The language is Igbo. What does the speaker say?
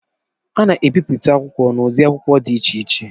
A na-ebipụta akwụkwọ n'ụdị akwụkwọ dị iche iche